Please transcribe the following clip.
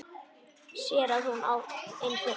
Sér að hún er fyrir.